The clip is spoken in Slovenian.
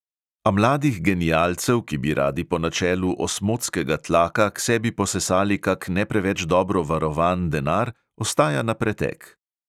A mladih genialcev, ki bi radi po načelu osmotskega tlaka k sebi posesali kak ne preveč dobro varovan denar, ostaja na pretek.